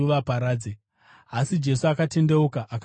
Asi Jesu akatendeuka akavatsiura,